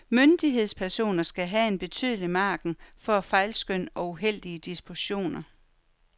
Myndighedspersoner skal have en betydelig margin for fejlskøn og uheldige dispositioner.